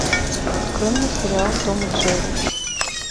открой мне сериал том и джерри